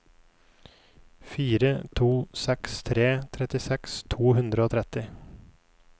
fire to seks tre trettiseks to hundre og tretti